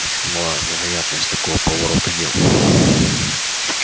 очень мала вероятность такого поворота дел